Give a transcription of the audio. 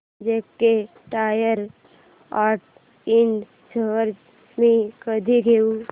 JK tyre and Ind shares मी कधी घेऊ